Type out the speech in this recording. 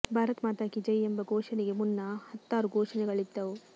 ಭಾರತ್ ಮಾತಾ ಕೀ ಜೈ ಎಂಬ ಘೋಷಣೆಗೆ ಮುನ್ನ ಹತ್ತಾರು ಘೋಷಣೆಗಳಿದ್ದವು